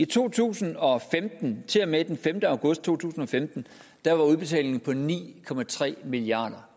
to tusind og femten til og med den femte august to tusind og femten var udbetalingen på ni milliard